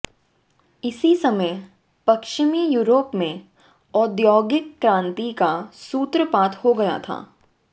इसी समय पश्चिमी य़ूरोप में औद्योगिक क्रांति का सूत्रपात हो गया था